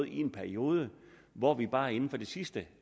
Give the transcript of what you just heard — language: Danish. i en periode hvor vi bare inden for det sidste